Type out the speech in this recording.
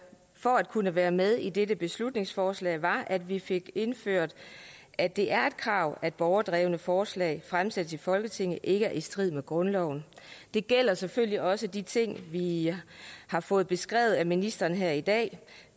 for at kunne være med i dette beslutningsforslag var at vi fik indført at det er et krav at borgerdrevne forslag fremsættes i folketinget ikke er i strid med grundloven det gælder selvfølgelig også de ting vi har fået beskrevet af ministeren her i dag